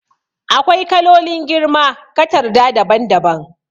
AkwaiKalolin girma katarda daban daban